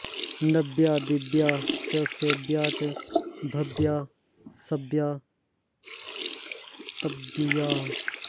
नव्या दिव्या च सेव्या च भव्या सव्या स्तव्यया